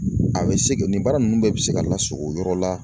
A bɛ se nin baara nunnu bɛɛ bɛ se ka lasugɔ o yɔrɔ la